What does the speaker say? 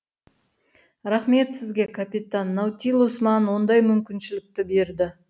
рақмет сізге капитан наутилус маған ондай мүмкіншілікті берді